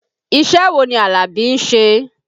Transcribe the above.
Iṣẹ́ wo ni Alabi ń ṣe?